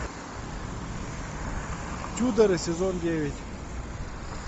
тюдоры сезон девять